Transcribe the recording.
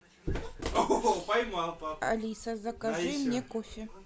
алиса закажи мне кофе